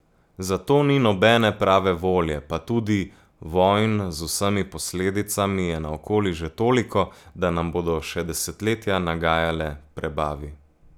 Za to ni nobene prave volje pa tudi vojn z vsemi posledicami je naokoli že toliko, da nam bodo še desetletja nagajale prebavi.